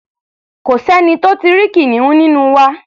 Kò sẹ́ni tó tí ì rí kìnìún nínú wa.